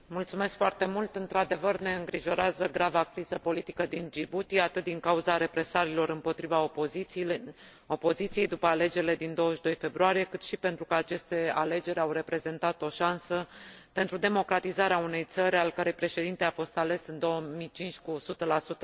Într adevăr, ne îngrijorează grava criză politică din Djibouti, atât din cauza represaliilor împotriva opoziției, după alegerile din 22 februarie, cât și pentru că aceste alegeri au reprezentat o șansă pentru democratizarea unei țări al cărei președinte a fost ales, în 2005, cu 100 din voturi.